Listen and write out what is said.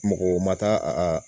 Mɔgɔ ma taa a